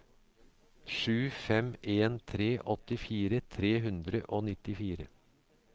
sju fem en tre åttifire tre hundre og nittifire